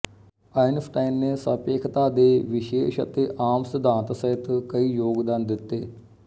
Einstein ਨੇ ਸਾਪੇਖਤਾ ਦੇ ਵਿਸ਼ੇਸ਼ ਅਤੇ ਆਮ ਸਿਧਾਂਤ ਸਹਿਤ ਕਈ ਯੋਗਦਾਨ ਦਿੱਤੇ